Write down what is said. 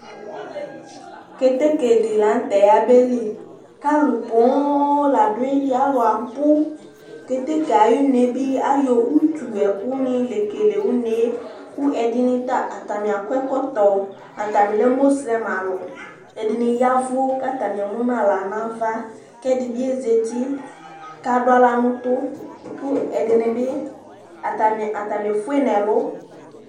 Kétéké di la ŋtɛ ya beli Kă alω buhum la du ayili, aluabu Kétéké ayi uné bi ayɔ utu nɛ ɛku ni la yo kelé uné Ku ɛdini ta, atni akɔ ɛkɔtɔ, atani lɛ moselem alu Ɛdini yavu ka atanié munu uwɔ nava Kɛ ɛdini zétié ka adu aɣla nu utu , ku ɛdini bi atanié fué nɛ ɛlu